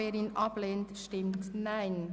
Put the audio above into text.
Wer das ablehnt, stimmt Nein.